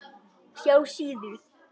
SJÁ SÍÐU.